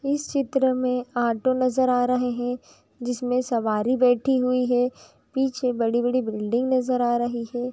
इस चित्र में ऑटो नज़र आ रहे हैं जिसमें सवारी बैठी हुई हैं। पीछे बड़ी बड़ी बिल्डिंग नज़र आ रही हैं।